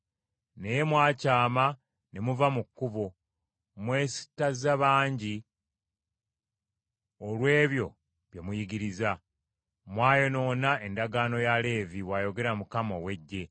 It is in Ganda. Naye mwakyama ne muva mu kkubo; mwesittaza bangi olw’ebyo bye muyigiriza; mwayonoona endagaano ya Leevi,” bw’ayogera Mukama ow’Eggye.